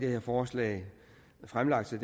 her forslag fremlagt så